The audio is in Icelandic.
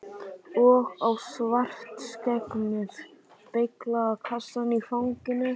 Og á Svartskegg með beyglaða kassann í fanginu.